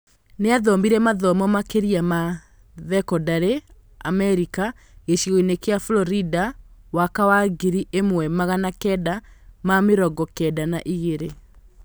Nĩathomire mathomo makĩria ma thekondarĩ Amarika gĩcigo-inĩ kia Florida waka wa ngiri ĩmwe magana kenda ma mĩrongo Kenda na igĩrĩ